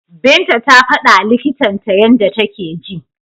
Binta ta fadawa likitan ta yanda take ji.